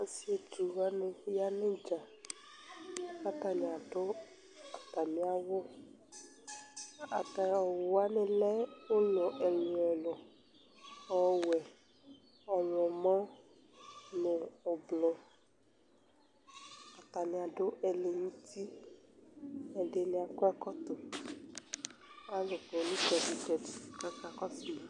Ɔsietsuwani ya nu idza Ku atani adu atami awu Atami awu wani lɛ ulɔ ɛlu ɛlu Ɔwɛ , ɔwlɔmɔ nu ublɔ Atani adu ɛlɛnti, atani akɔ ɛkɔtɔ Ku alu kɔ nu itsɛdi itsɛdi ku akakɔsui